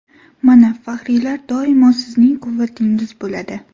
Mana faxriylar doimo sizning quvvatingiz bo‘ladi.